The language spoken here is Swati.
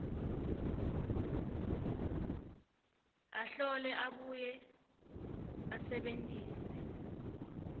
ahlole abuye asebentise